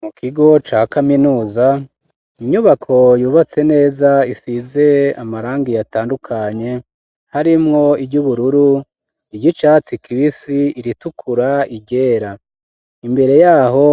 Mu kigo ca kaminuza, inyubako yubatse neza, isize amarangi atandukanye, harimwo iry'ubururu, iry'icatsi kibisi, iritukura, iryera. Imbere yaho